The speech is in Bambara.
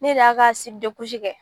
Ne de y'a ka kɛ